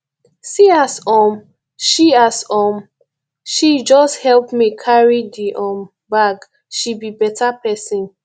see as um she as um she just help me carry the um bag she be better person